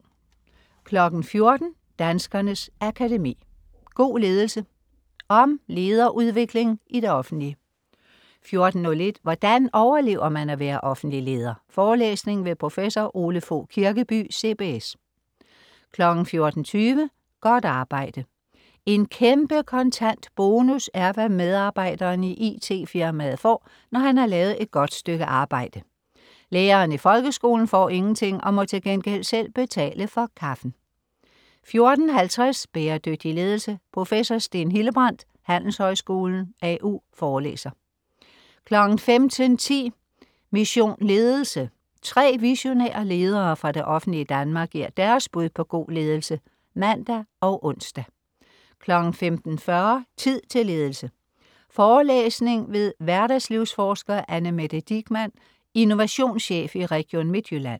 14.00 Danskernes Akademi. God ledelse. Om lederudvikling i det offentlige 14.01 Hvordan overlever man at være offentlig leder? Forelæsning ved prof. Ole Fogh Kirkeby, CBS 14.20 Godt arbejde. En kæmpe kontant bonus er, hvad medarbejderen i it-firmaet får, når han lavet et godt stykke arbejde. Læreren i folkeskolen får ingenting og må til gengæld selv betale for kaffen 14.50 Bæredygtig ledelse. Prof. Steen Hildebrandt, Handelshøjskolen, AU, forelæser 15.10 Mission Ledelse. Tre visionære ledere fra det offentlige Danmark giver deres bud på god ledelse (man og ons) 15.40 Tid til ledelse. Forelæsning ved hverdagslivsforsker Annemette Digmann, innovationschef i Region Midtjylland